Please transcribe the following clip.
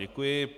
Děkuji.